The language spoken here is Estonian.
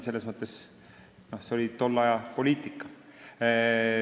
See oli tolle aja poliitika.